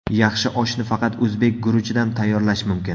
Yaxshi oshni faqat o‘zbek guruchidan tayyorlash mumkin.